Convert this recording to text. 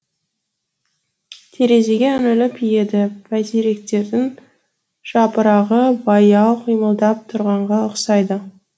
терезеге үңіліп еді бәйтеректердің жапырағы баяу қимылдап тұрғанға ұқсайды